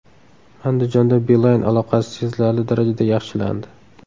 Andijonda Beeline aloqasi sezilarli darajada yaxshilandi.